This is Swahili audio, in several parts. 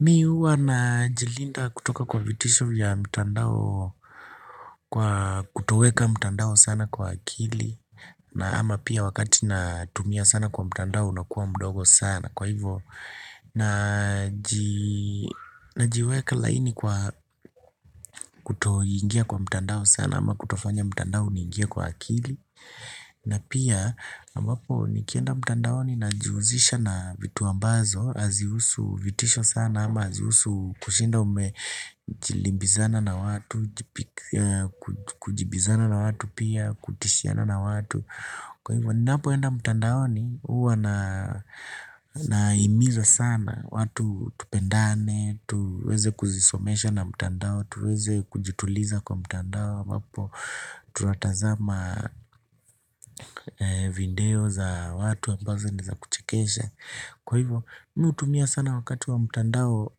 Mimi huwa najilinda kutoka kwa vitisho vya mtandao kwa kutoweka mtandao sana kwa akili na ama pia wakati natumia sana kwa mtandao unakua mdogo sana kwa hivo najiweka laini kwa kutoingia kwa mtandao sana ama kutofanya mtandao uniingie kwa akili na pia, ambapo nikienda mtandaoni najihuzisha na vitu ambazo hazihusu vitisho sana ama hazihusu kushinda umejibizana na watu Kujibizana na watu pia, kutishiana na watu Kwa hivyo, ninapo enda mtandaoni, huwa nahimiza sana watu tupendane, tuweze kuzisomesha na mtandao tuweze kujituliza kwa mtandao ambapo tunatazama video za watu ambazo ni za kuchekesha Kwa hivyo mimi hutumia sana wakati wa mtandao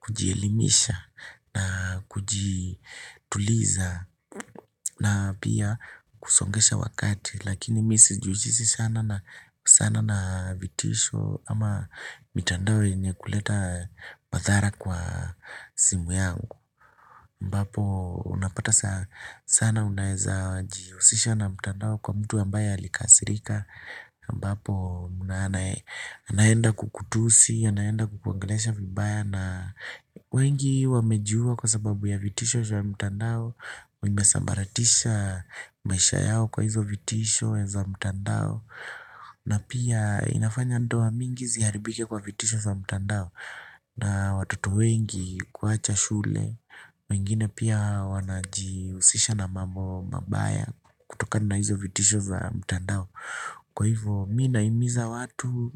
kujielimisha na kujituliza na pia kusongesha wakati Lakini mimi sijihusishi sana na sana na vitisho ama mitandao yenye kuleta madhara kwa simu yangu ambapo unapata sana unaeza jihusisha na mtandao kwa mtu ambaye alikasirika ambapo anaenda kukutusi, anaenda kukuongelesha vibaya na wengi wamejua kwa sababu ya vitisho ya mtandao imesambaratisha maisha yao kwa hizo vitisho za mtandao na pia inafanya ndoa mingi ziharibike kwa vitisho za mtandao na watoto wengi kuacha shule mengine pia wanajihusisha na mambo mabaya kutokana na hizo vitisho za mtandao Kwa hivyo mimi nahimiza watu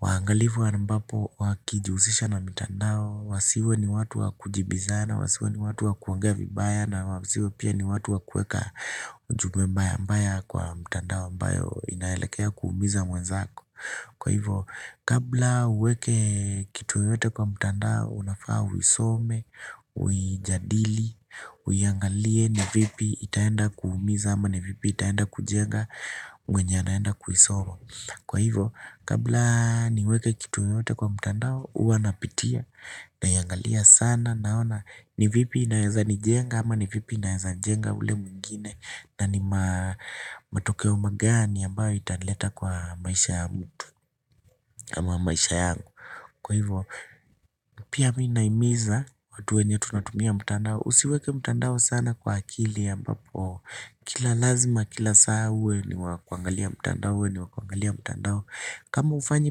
Waangalifu ambapo wakijihusisha na mtandao Wasiwe ni watu wakujibizana Wasiwe ni watu wakuongea vibaya na wasiwe pia ni watu wa kueka ujumbe mbaya mbaya kwa mtandao ambayo inaelekea kuumiza mwenzako Kwa hivyo kabla uweke kitu yote kwa mtandao unafaa uisome, uijadili, uiangalie ni vipi itaenda kuumiza ama ni vipi itaenda kujenga mwenye anaenda kuisoma. Kwa hivyo kabla niweke kitu yoyote kwa mtandao huwa napitia naiangalia sana naona ni vipi inaeza nijenga ama ni vipi inaeza jenga ule mwingine na ni matokeo magani ambayo itanileta kwa maisha ya mtu. Ama maisha yangu Kwa hivyo pia mimi nahimiza watu wenye tunatumia mtandao Usiweke mtandao sana kwa akili ambapo kila lazima kila saa uwe ni wa kuangalia mtandao kama hufanyi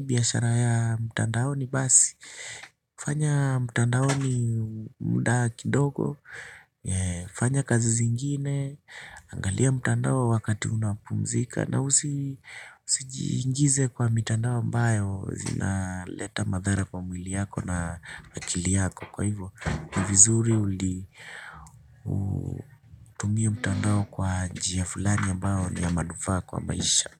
biashara ya mtandaoni basi hufanya mtandaoni muda kidogo hufanya kazi zingine Angalia mtandao wakati unapumzika na usijiingize kwa mitandao ambayo inaleta madhara kwa mwili yako na akili yako Kwa hivyo, ni vizuri uli utumie mtandao kwa njia fulani ambayo ya manufaa kwa maisha.